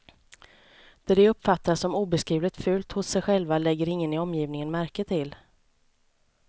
Det de uppfattar som obeskrivligt fult hos sig själva lägger ingen i omgivningen märke till.